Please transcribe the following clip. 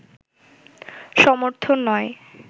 সমর্থন নয়